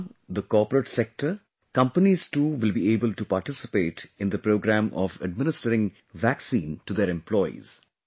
Now the Corporate Sector, companies too will be able to participate in the programme of administering vaccine to their employees